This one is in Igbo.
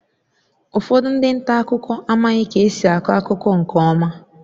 Ụfọdụ ndị nta akụkọ amaghị ka esi akọ akụkọ nke ọma